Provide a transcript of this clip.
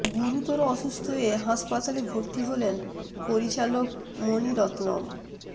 গুরুতর অসুস্থ হয়ে হাসপাতালে ভর্তি হলেন পরিচালক মণি রত্নম